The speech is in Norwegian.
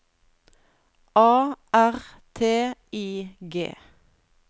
A R T I G